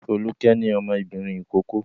Folúkẹ́ ní ọmọbìnrin ìkókó.